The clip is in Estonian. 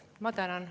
Ma tänan.